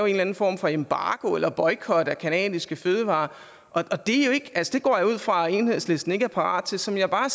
en eller anden form for embargo eller boykot af canadiske fødevarer og det går jeg ud fra at enhedslisten ikke er parate til som jeg bare